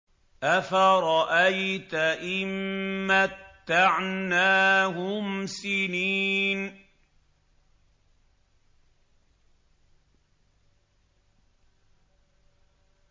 أَفَرَأَيْتَ إِن مَّتَّعْنَاهُمْ سِنِينَ